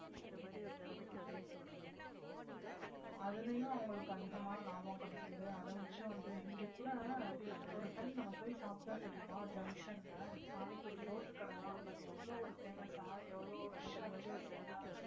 அதுலயும் அவங்களுக்கு அதிகமான லாபம் கிடைக்குது அதை வச்சும் வந்து இங்க கூட ஒரு time நம்ம போய் சாப்பிட்டோம் தெரியுமா junction ல panipuri ரோட்டு கடைதான் but எவ்வளவு ஒரு famous ஆ எவ்வளவு rush ஆ இருந்துச்சு பாத்திங்களா